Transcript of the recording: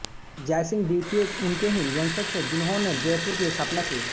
जयसिंह द्वितीय उनके ही वंशज थे जिन्होने जयपुर की स्थापना की